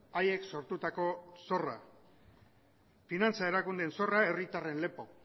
haiek sortutako zorrak finantza erakundeen zorra herritarren lepo